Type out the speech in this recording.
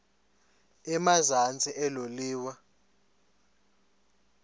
emazantsi elo liwa